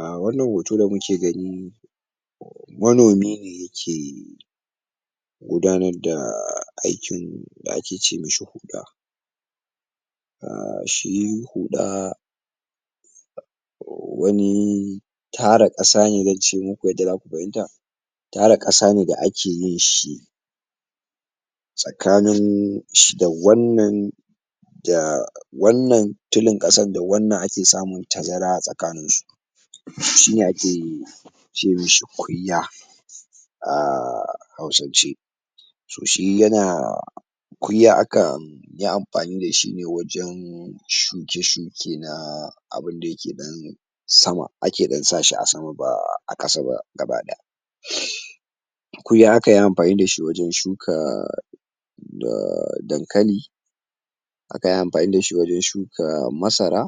um wannan hoto da muke gani manomi ne yake yake gudanar da aikin da ake ce mishi huɗa um shi huɗa wani tara kasane zance muku yadda zaku fahimta tara kasane da ake yin shi tsakanin sh da wannan da wannan tulin ƙasan da wannan ake samun tazara a tsakaninsu shine ake ce mishi kunya a hausance to shi yana kunya akanyi amfani dashi ne wajan shuke shuke na abunda yake ɗan sama ake ɗan sashi a sama ba a ƙasa ba gaba ɗaya kunya akanyi amfani dashi wajan shuka dankali akanyi amfani dashi wajan shuka masara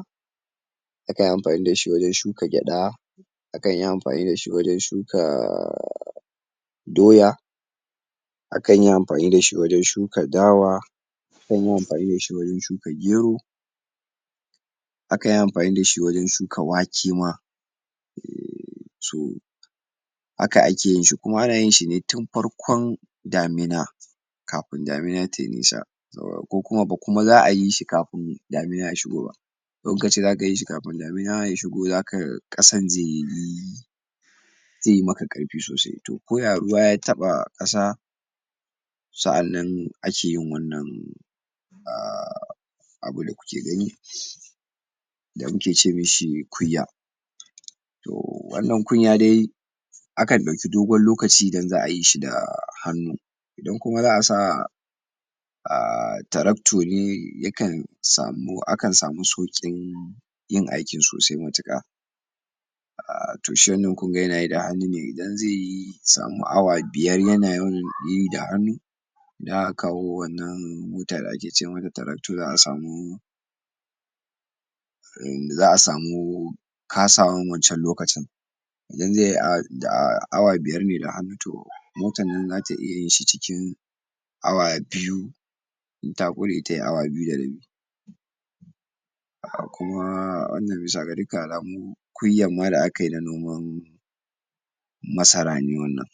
akanyi amfani dashi wajan shuka gyaɗa akanyi amfani dashi wajan shuka doya akanyi amfani dashi wajan shuka dawa akanyi amfani dashi wajan shuka gero akanyi amfani dashi wajan shuka wake ma to haka akeyin shi kuma ana yinshi ne tun farkon damina kafin damina tayi nisa ba kuma za a yi shi kafin damina ya shigo ba idan kace' zaka yishi kafin damina ya shigo za ka ƙasan zaiyi zai maka karfi sosai to ko ya ruwa ya taɓa ƙasa sa 'annan akeyin wannan um abun da kuke gani da muke ce mishi kunya to wannan kunya dai akan ɗauke dogon lokaci idan za a yishi da hannu idan kuma za asa um taraktu ne yakan samu akan samu sauƙin yin aikin sosai matuƙa um to shi wannan kunga yanayi da hannu ne idan zaiyi zai samu awa biyar yanayi da hannu idan aka kawo wannan mota da ake ce mata tarakto za a samu za a samu kasawan wancan lokacin idan zaiyi da awa biyar ne da hannu to motan nan zata iyayin shi cikin awa biyu inta ƙure tayi awa biyu da rabi um kuma wannan bisa ga dukkan alamu kunya ma da akayi na noman masara ne wannan